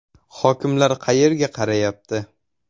Hokimlar qayerga qarayapti?